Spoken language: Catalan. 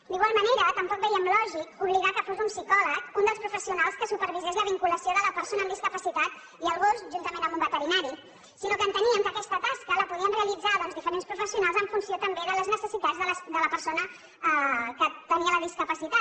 d’igual manera tampoc veiem lògic obligar que fos un psicòleg un dels professionals que supervisés la vinculació de la persona amb discapacitat i el gos juntament amb un veterinari sinó que enteníem que aquesta tasca la podien realitzar doncs diferents professionals en funció també de les necessitats de la persona que tenia la discapacitat